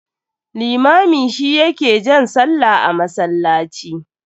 Limami shi ya ke jan sallah a masallaci.